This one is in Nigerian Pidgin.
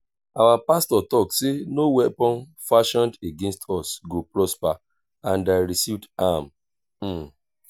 our pastor talk say no weapon fashioned against us go prosper and i receive am